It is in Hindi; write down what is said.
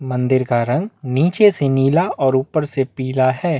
मंदिर का रंग नीचे से नीला और ऊपर से पीला है।